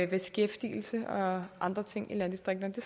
beskæftigelse og andre ting i landdistrikterne det